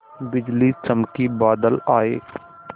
बिजली चमकी बादल आए